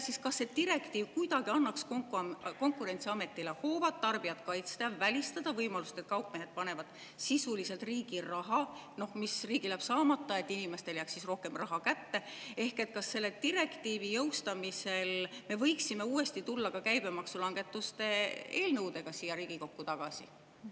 Kas siis see direktiiv kuidagi annaks Konkurentsiametile hoovad tarbijat kaitsta, välistada võimalust, et kaupmehed panevad sisuliselt riigi raha, mis riigil jääb saamata, et inimestele jääks rohkem raha kätte, ehk kas selle direktiivi jõustamisel me võiksime uuesti tulla ka käibemaksulangetuste eelnõudega siia Riigikokku tagasi?